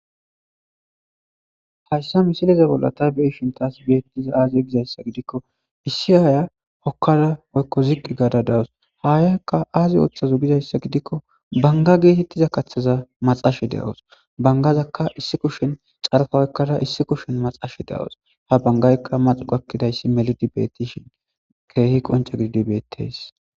hayssa misileza bollata beishintaas beettiza aaziye gizayssa gidikko issi aaya hokkada woykko ziqi gaada dawus haayaykka aazi ooththazo gizayssa gidikko banga geetettiza kaththaza maxashe de7awos bangazakka issi kushin xarfa oykkada issi kushin maxashe de7awos ha bangaykka maxuqakkidayssi melidi beettishin keehi qonca gididi beetteys